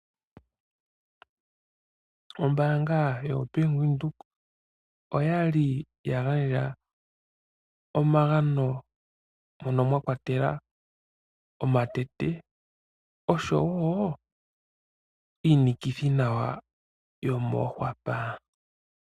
Ombaanga yoBank Windhoek oyali yagandja omagano moka mwakwatelwa omatete osho wo iinikithi nawa yomoonkwapa.